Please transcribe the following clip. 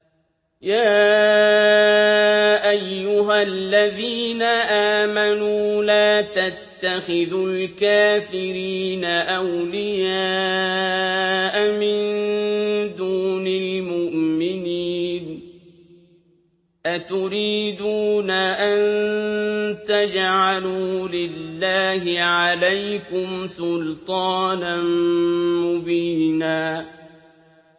يَا أَيُّهَا الَّذِينَ آمَنُوا لَا تَتَّخِذُوا الْكَافِرِينَ أَوْلِيَاءَ مِن دُونِ الْمُؤْمِنِينَ ۚ أَتُرِيدُونَ أَن تَجْعَلُوا لِلَّهِ عَلَيْكُمْ سُلْطَانًا مُّبِينًا